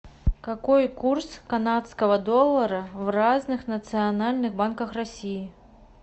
какой курс канадского доллара в разных национальных банках россии